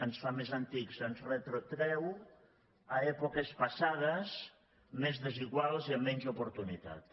ens fa més antics ens retrotreu a èpoques passades més desiguals i amb menys oportunitats